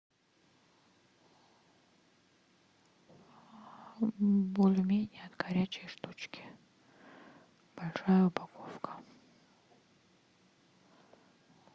бульмени от горячей штучки большая упаковка